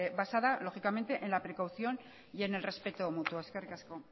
basada lógicamente en la precaución y en el respeto mutuo eskerrik asko